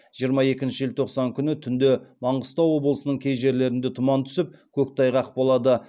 жиырма екінші желтоқсан күні түнде маңғыстау облысының кей жерлерінде тұман түсіп көктайғақ болады